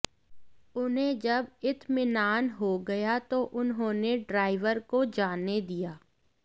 उन्हें जब इत्मिनान हो गया तो उन्होंने ड्राइवर को जाने दिया